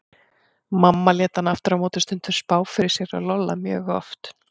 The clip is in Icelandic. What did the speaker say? Mamma lét hana aftur á móti stundum spá fyrir sér og Lolla mjög oft.